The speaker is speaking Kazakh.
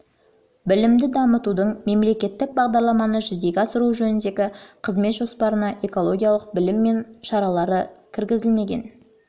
білімді дамытудың мемлекеттік бағдарламаны жүзеге асыру жөніндегі қызмет жоспарына экологиялық білім мен шаралары кіргізілмеген